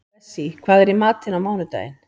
Bessí, hvað er í matinn á mánudaginn?